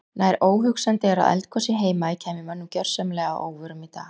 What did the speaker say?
Nær óhugsandi er að eldgos í Heimaey kæmi mönnum gjörsamlega að óvörum í dag.